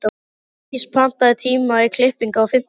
Dís, pantaðu tíma í klippingu á fimmtudaginn.